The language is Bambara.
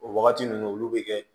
O wagati ninnu olu bi kɛ